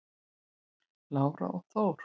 Lára og Þór.